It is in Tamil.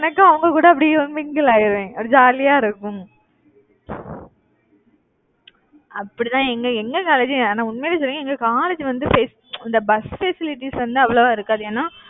எனக்கும் அவங்க கூட அப்படி mingle ஆயிடுவேன் அப்படி jolly ஆ இருக்கும் அப்படிதான எங்க எங்க college ஆனா உண்மையிலேயே சொல்லறேன் எங்க college உ வந்து best இந்த பஸ் facilities வந்து அவ்வளவா இருக்காது. ஏன்னா